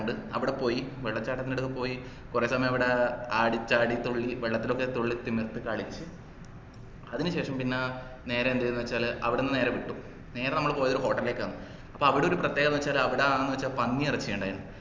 ണ്ട് അവിട പോയി വെള്ളച്ചാട്ടന്റടുക്ക പൊയി കൊറേ സമയവിടെ ആടി ചാടി തുള്ളി വെള്ളത്തിലൊക്കെ തുള്ളി തിമിർത്തു കളിച്ചു അതിനുശേഷം പിന്നെ നേരെ എന്ത്ചെയ്തുന്നു വെച്ചാല് അവിടന്ന് നേരെ വിട്ടു നേരെ നമ്മള് പോയതൊരു hotel ലേക്കാണ് അപ്പൊ അവിടൊരു പ്രത്യേകതാന്ന് വെച്ചാല് അവിടെ പന്നിയെറച്ചി ഇണ്ടയിന് food